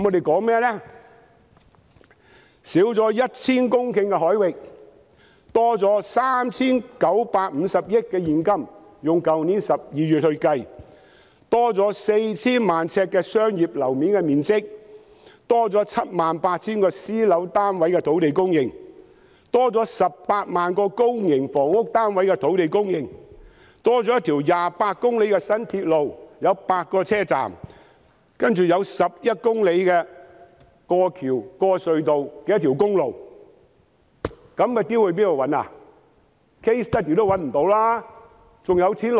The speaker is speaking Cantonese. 減少 1,000 公頃海域，可增加 3,950 億元現金收入，以去年12月計算，我們可增加 4,000 萬呎商業樓面面積、78,000 個私樓單位的土地供應、18萬個公營房屋單位的土地供應、一條28公里有8個車站的新鐵路，還有一條11公里過橋和經過隧道的公路。